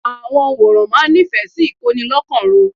Àwọn ọ̀ǹwòran máa nífẹ̀ẹ́ sí ìkónilọ́kan-ró.